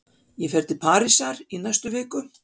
Ég fer til Parísar í næstu viku.